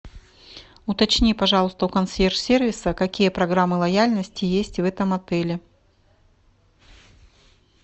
уточни пожалуйста у консьерж сервиса какие программы лояльности есть в этом отеле